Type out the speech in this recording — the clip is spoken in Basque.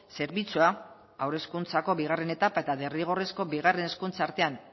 zerbitzua haur hezkuntzako bigarren etapa eta derrigorrezko bigarren hezkuntza artean